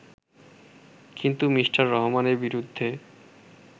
কিন্তু মি: রহমানের বিরুদ্ধে